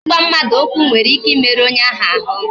Igba mmadụ ụkwụ nwere ike imeru onye ahụ ahụ